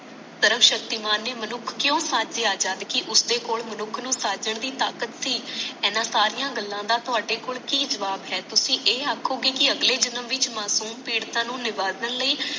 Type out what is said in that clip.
ਸਰਵਸ਼ਕਤੀਮਾਨ ਨੇ ਮਨੁੱਖ ਕਿਊ ਸਾਜੇ ਜਦ ਕਿ ਉਸਦੇ ਕੋਲ ਮਨੁੱਖ ਨੂੰ ਸਾਜਨ ਦੀ ਤਾਕਤ ਸੀ ਇਹਨਾਂ ਸਾਰੀਆਂ ਗੱਲਾਂ ਦਾ ਥੋੜੇ ਕੋਲ ਕਿ ਜਵਾਬ ਹੈ ਤੁਸੀ ਇਹ ਆਖੋਗੇ ਕਿ ਅਗਲੇ ਜਨਮ ਵਿੱਚ ਮਾਸੂਮ ਪੀੜਤਾਂ ਨੂੰ ਨਿਬਾਦਨ ਲਈ